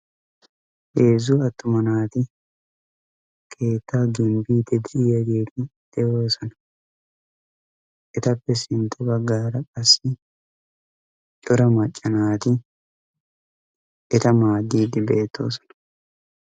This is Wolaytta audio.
Heezzu attuma naati keettaa gimbbiidi de'iyaageti de'oosona. ettappe sintta baggaara qassi cora macca naati eta maaddiidi beettoosona.